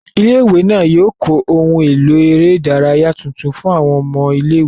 Ilé-ìwé náà yóò kọ́ ohun èlò eré ìdárayá tuntun fún àwọn ọmọ ilé-ìwé